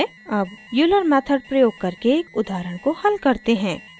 अब euler method प्रयोग करके एक उदाहरण को हल करते हैं